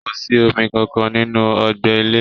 Kò sí omi kankan nínú ọgbẹ ilẹ́.